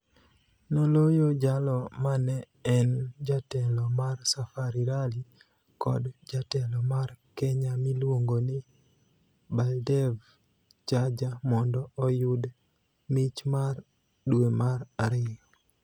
Noloyo jalo mane en jatelo mar Safari Rally kod jatelo mar Kenya miluongo ni Baldev Chager mondo oyud mich mar dwe mar ariyo.